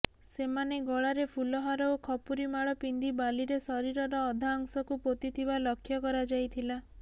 ସେମାନେ ଗଳାରେ ଫୁଲହାର ଓ ଖପୁରୀ ମାଳ ପିନ୍ଧି ବାଲିରେ ଶରୀରର ଅଧାଅଂଶକୁ ପୋତିଥିବା ଲକ୍ଷ୍ୟ କରାଯାଇଥିଲା